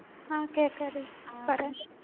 ആ കേക്കാടി പറയ്